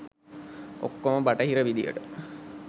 ඔක්කොම බටහිර විදියට.